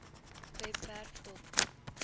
webwerf dop